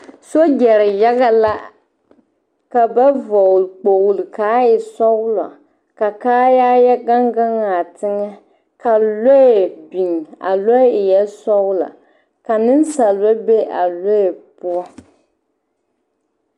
Sogyɛre yaga la ka na vɔgle kpogle k,a e sɔgla ka kaayaa yɛ gaŋ gaŋ a teŋɛ ka lɔɛ biŋ a lɔɛ eɛ sɔglɔ ka nensalba be a lɔɛ poɔ.